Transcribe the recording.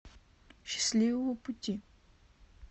счастливого пути